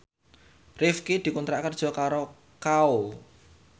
Rifqi dikontrak kerja karo Kao